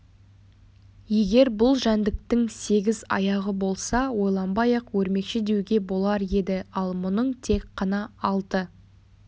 егер бұл жәндіктің сегіз аяғы болса ойланбай-ақ өрмекші деуге болар еді ал мұның тек қана алты